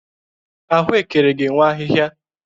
Ahụekere ga-enwe ahịhịa